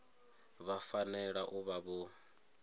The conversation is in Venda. vha fanela u vha vho